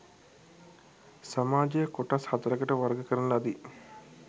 සමාජය කොටස් සතරකට වර්ග කරන ලදී.